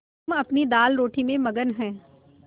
हम अपनी दालरोटी में मगन हैं